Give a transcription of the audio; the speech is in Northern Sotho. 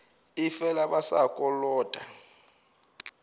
ee fela ba sa kolota